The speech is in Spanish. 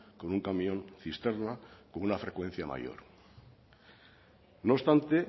con un camión cisterna con una frecuencia mayor no obstante